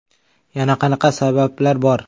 Yana qanaqa sabablar bor?